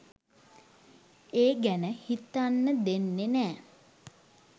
ඒ ගැන හිතන්න දෙන්නෙ නෑ.